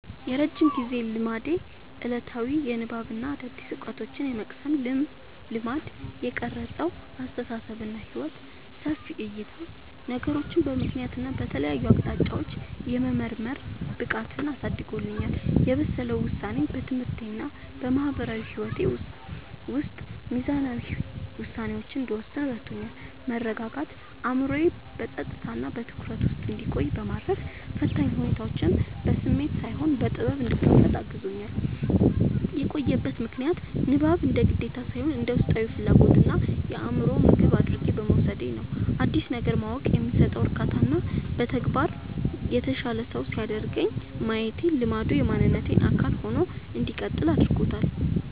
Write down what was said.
የረጅም ጊዜ ልማዴ፦ ዕለታዊ የንባብና አዳዲስ ዕውቀቶችን የመቅሰም ልማድ። የቀረጸው አስተሳሰብና ሕይወት፦ ሰፊ ዕይታ፦ ነገሮችን በምክንያትና በተለያዩ አቅጣጫዎች የመመርመር ብቃትን አሳድጎልኛል። የበሰለ ውሳኔ፦ በትምህርቴና በማህበራዊ ሕይወቴ ውስጥ ሚዛናዊ ውሳኔዎችን እንድወስን ረድቶኛል። መረጋጋት፦ አእምሮዬ በጸጥታና በትኩረት ውስጥ እንዲቆይ በማድረግ፣ ፈታኝ ሁኔታዎችን በስሜት ሳይሆን በጥበብ እንድጋፈጥ አግዞኛል። የቆየበት ምክንያት፦ ንባብን እንደ ግዴታ ሳይሆን እንደ ውስጣዊ ፍላጎትና የአእምሮ ምግብ አድርጌ በመውሰዴ ነው። አዲስ ነገር ማወቅ የሚሰጠው እርካታና በተግባር የተሻለ ሰው ሲያደርገኝ ማየቴ ልማዱ የማንነቴ አካል ሆኖ እንዲቀጥል አድርጎታል።